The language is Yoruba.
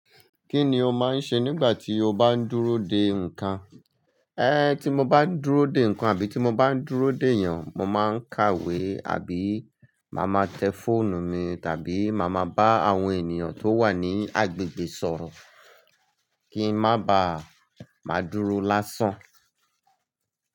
Kí ni o máa ń ṣe nígbà tí o bá ń dúró dè nǹkan? Tí mo bá ń dúró dè nǹkan àbí tí mo bá ń dúró d'èèyàn, mo máa ń kàwé àbí màá máa tẹ fóònù mi tàbí màá máa bá àwọn ènìyàn tó wà ní agbègbè sọ̀rọ̀ kí ń má bá máa dúró lásán.